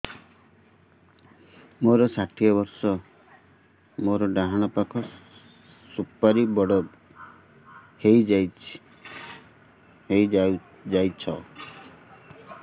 ମୋର ଷାଠିଏ ବର୍ଷ ମୋର ଡାହାଣ ପାଖ ସୁପାରୀ ବଡ ହୈ ଯାଇଛ